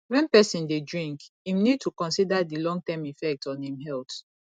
when person dey drink im need to consider di long term effect on im health